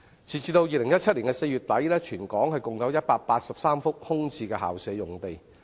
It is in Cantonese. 截至2017年4月底，全港共有183幅空置校舍用地。